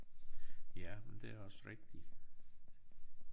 Ja men det også rigtigt